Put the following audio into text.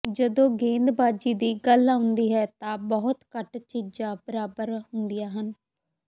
ਜਦੋਂ ਗੇਂਦਬਾਜ਼ੀ ਦੀ ਗੱਲ ਆਉਂਦੀ ਹੈ ਤਾਂ ਬਹੁਤ ਘੱਟ ਚੀਜ਼ਾਂ ਬਰਾਬਰ ਹੁੰਦੀਆਂ ਹਨ